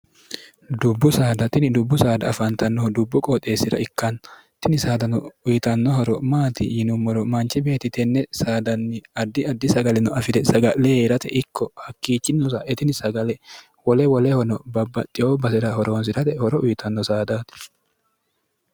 dubbu saada tini dubbu saada afaantannohu dubbu qooxeessi'ra ikkanna tini saadano uyitanno horo maati yinummoro manchi beeti tenne saadanni addi addi sagalino afi're saga'le yee'rate ikko hakkiichi nosa etini sagale wole wolehono babbaxxeo basi'ra horoonsi'rate horo uyitanno saadaati